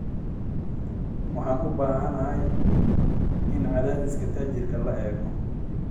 Waxaan u baahanahay in cadaadiska taayirka la eego